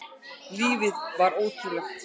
Lífið var ótrúlegt.